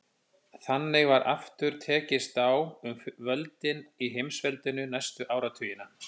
Þannig var aftur tekist á um völdin í heimsveldinu næstu áratugina.